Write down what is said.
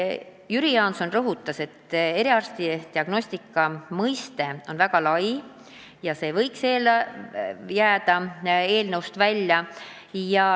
Jüri Jaanson rõhutas, et "eriarstiabi diagnostika" mõiste on väga lai ja see võiks jääda eelnõust välja.